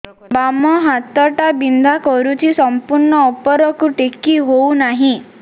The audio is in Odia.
ବାମ ହାତ ଟା ବିନ୍ଧା କରୁଛି ସମ୍ପୂର୍ଣ ଉପରକୁ ଟେକି ହୋଉନାହିଁ